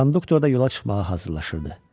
Konduktor da yola çıxmağa hazırlaşırdı.